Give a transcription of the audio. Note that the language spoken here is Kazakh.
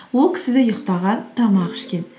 ол кісі де ұйықтаған тамақ ішкен